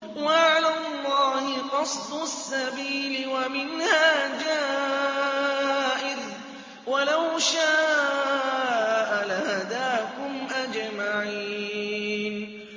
وَعَلَى اللَّهِ قَصْدُ السَّبِيلِ وَمِنْهَا جَائِرٌ ۚ وَلَوْ شَاءَ لَهَدَاكُمْ أَجْمَعِينَ